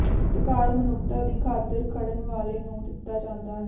ਸਤਿਕਾਰ ਮਨੁੱਖਤਾ ਦੀ ਖਾਤਿਰ ਖੜਨ ਵਾਲੇ ਨੂੰ ਦਿੱਤਾ ਜਾਂਦਾ ਹੈ